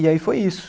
E aí foi isso.